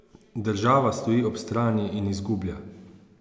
Država stoji ob strani in izgublja.